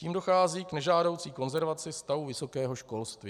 Tím dochází k nežádoucí konzervaci stavu vysokého školství.